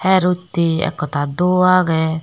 her utte ek hotta duo age.